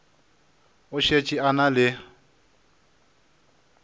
o šetše a na le